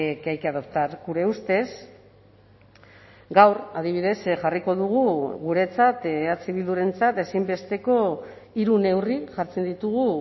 que hay que adoptar gure ustez gaur adibidez jarriko dugu guretzat eh bildurentzat ezinbesteko hiru neurri jartzen ditugu